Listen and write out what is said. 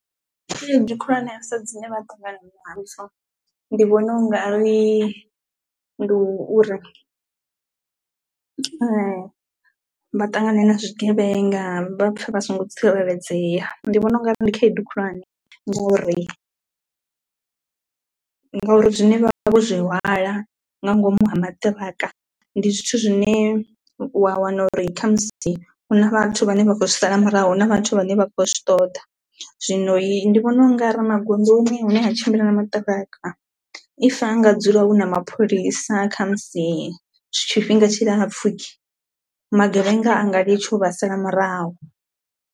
Khaedu khulwanesa dzine vha ṱangana nadzo ndi vhona u nga ri ndi u ri vha ṱangane na zwigevhenga vha pfhe vha songo tsireledzea, ndi vhona u nga ri ndi khaedu khulwane ngori ngauri zwine vha vha vho zwi hwala nga ngomu ha maṱiraka ndi zwithu zwine wa wana uri kha musi hu na vhathu vhane vha khou zwi sala murahu hu na vhathu vhane vha khou zwi ṱoḓa. Zwino ndi vhona u nga ri magondoni hune ha tshimbila na maṱiraka if ha nga dzula hu na mapholisa kha musi zw tshifhinga tshi lapfu magevhenga anga litsha u vha sala murahu.